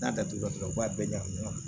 N'a datugulan u b'a bɛɛ ɲagami ɲɔgɔn na